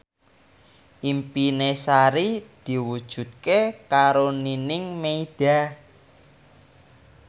impine Sari diwujudke karo Nining Meida